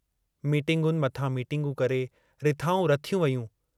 मीटिंगुनि मथां मीटिंगूं करे रिथाऊं रथियूं वेयूं।